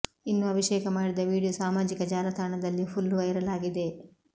ಇನ್ನು ಅಭಿಷೇಕ ಮಾಡಿದ ವೀಡಿಯೋ ಸಾಮಾಜಿಕ ಜಾಲತಾಣದಲ್ಲಿ ಫುಲ್ ವೈರಲ್ ಆಗಿದೆ